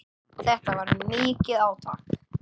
Þetta var mikið átak.